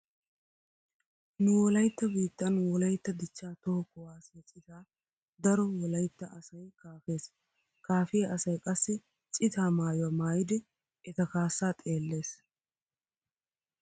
Nu wolaytta biittan wolaytta dichchaa toho kuwaassiya cita daro wolaytta asay kaafees. Kaafiya asay qassi citaa maayuwa maayidi eta kaassaa xeellees.